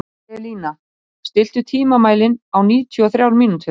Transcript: Selina, stilltu tímamælinn á níutíu og þrjár mínútur.